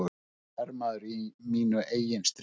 Hermaður í mínu eigin stríði.